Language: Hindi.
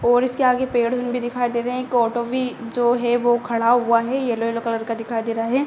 और इसके आगे पेड़ हूँ भी दिखाई दे रहे है। एक ऑटो भी जो है वो खड़ा हुआ है येल्लो येल्लो कलर का दिखाई दे रहा है।